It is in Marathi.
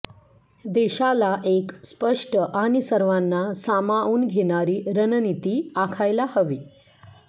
देशाला एक स्पष्ट आणि सर्वांना सामावून घेणारी रणनिती आखायला हवी